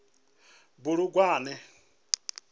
bulugwane